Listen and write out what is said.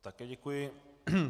Také děkuji.